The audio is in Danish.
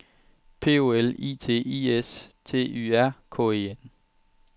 P O L I T I S T Y R K E N